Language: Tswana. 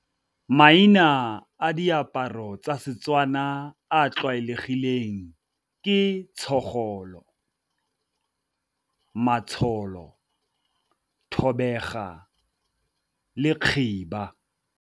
Maina a diaparo tsa Setswana a a tlwaelegileng ke , matsholo, thobega le khiba.